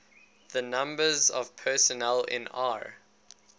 the numbers of personnel in r